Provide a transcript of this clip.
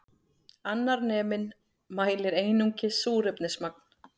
Annar neminn mælir einungis súrefnismagn